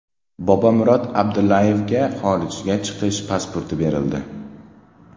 Bobomurod Abdullayevga xorijga chiqish pasporti berildi.